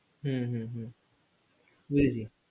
হু হুহুহু